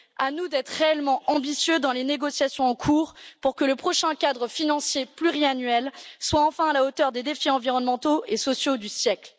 À nous d'être réellement ambitieux dans les négociations en cours pour que le prochain cadre financier pluriannuel soit enfin à la hauteur des défis environnementaux et sociaux du siècle.